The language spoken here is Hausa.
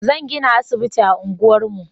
Zan gina asibiti a unguwar mu